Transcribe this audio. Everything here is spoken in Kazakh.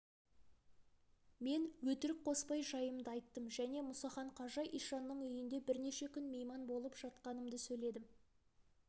мен өтірік қоспай жайымды айттым және мұсахан қажы ишанның үйінде бірнеше күн мейман болып жатқанымды сөйледім